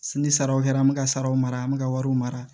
Ni saraw kɛra an bɛ ka saraw mara an bɛ ka wariw mara